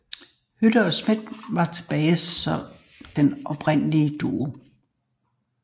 Hyde og Smith var tilbage som den oprindelige duo